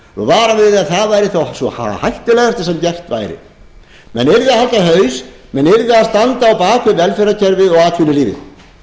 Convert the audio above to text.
varað við því að það væri það hættulegasta sem gert væri menn yrðu að halda haus menn yrðu að standa á bak við velferðarkerfið og atvinnulífið